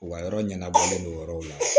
U ka yɔrɔ ɲɛnabɔlen don o yɔrɔw la